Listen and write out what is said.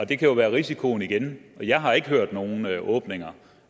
det kan jo være risikoen igen for jeg har ikke hørt om nogen åbninger